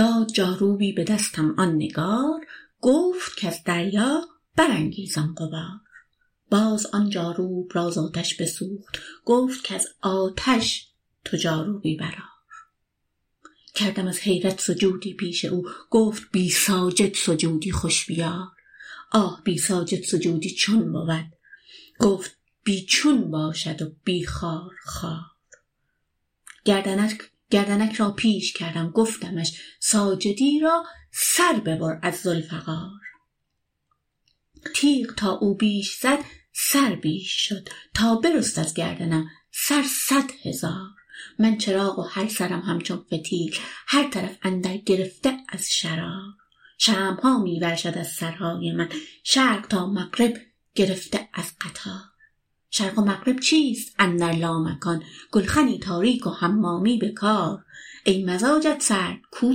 داد جاروبی به دستم آن نگار گفت کز دریا برانگیزان غبار باز آن جاروب را ز آتش بسوخت گفت کز آتش تو جاروبی برآر کردم از حیرت سجودی پیش او گفت بی ساجد سجودی خوش بیار آه بی ساجد سجودی چون بود گفت بی چون باشد و بی خارخار گردنک را پیش کردم گفتمش ساجدی را سر ببر از ذوالفقار تیغ تا او بیش زد سر بیش شد تا برست از گردنم سر صد هزار من چراغ و هر سرم همچون فتیل هر طرف اندر گرفته از شرار شمع ها می ورشد از سرهای من شرق تا مغرب گرفته از قطار شرق و مغرب چیست اندر لامکان گلخنی تاریک و حمامی به کار ای مزاجت سرد کو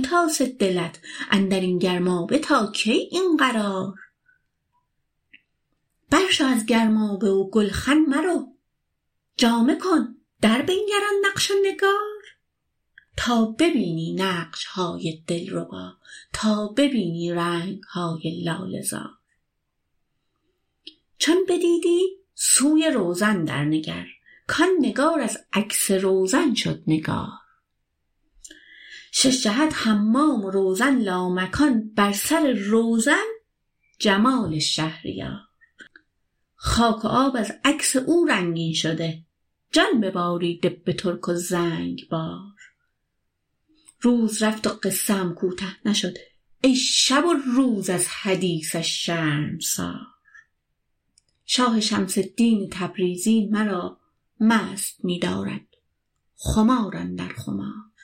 تاسه دلت اندر این گرمابه تا کی این قرار برشو از گرمابه و گلخن مرو جامه کن دربنگر آن نقش و نگار تا ببینی نقش های دلربا تا ببینی رنگ های لاله زار چون بدیدی سوی روزن درنگر کان نگار از عکس روزن شد نگار شش جهت حمام و روزن لامکان بر سر روزن جمال شهریار خاک و آب از عکس او رنگین شده جان بباریده به ترک و زنگبار روز رفت و قصه ام کوته نشد ای شب و روز از حدیثش شرمسار شاه شمس الدین تبریزی مرا مست می دارد خمار اندر خمار